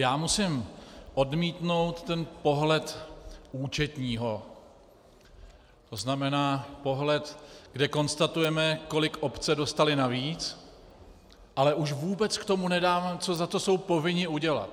Já musím odmítnout ten pohled účetního, to znamená pohled, kde konstatujeme, kolik obce dostaly navíc, ale už vůbec k tomu nedáváme, co za to jsou povinny udělat.